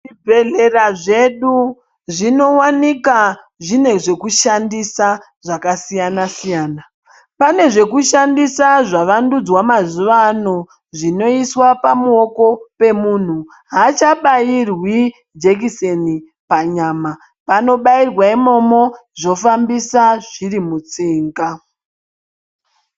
Zvibhedhlera zvedu zvinowanika zvine zvekushandisa zvakasiyana-siyana. Pane zvekushandisa zvavandudzwa mazuva ano zvinoiswa pamuoko pemunhu. Haachabairwi jekiseni panyama. Panobairwa imomo zvofambisa zviri mutsinga.